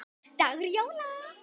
dagur jóla.